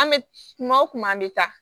An bɛ kuma o kuma an bɛ taa